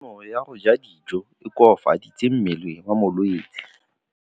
Kganô ya go ja dijo e koafaditse mmele wa molwetse.